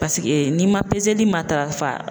Paseke n'i ma peseli matarafa